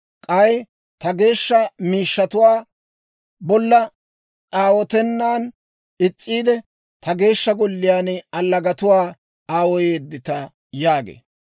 K'ay ta geeshsha miishshatuwaa bolla aawotennan is's'iide, ta Geeshsha Golliyaan allagatuwaa aawoyeedita» yaagee.